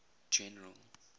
general